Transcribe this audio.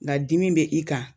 Nga dimi be i kan.